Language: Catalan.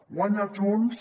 guanya junts